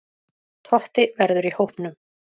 Totti verður í hópnum.